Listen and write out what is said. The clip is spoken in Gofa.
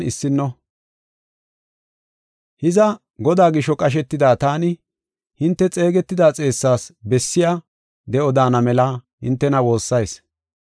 Hiza, Godaa gisho qashetida taani, hinte xeegetida xeessas bessiya de7o daana mela hintena woossayis.